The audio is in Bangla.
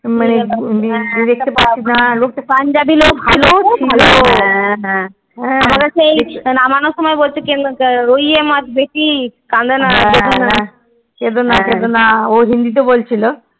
মানে লোকটা পাঞ্জাবি লোক খুব ভালো সেই নাবাৰ সময় বলছে ৰিয়ে মাটি বেশি কাইদনা কেনে কেদোনা কেদোনা অ হিন্দি তে বলছিলো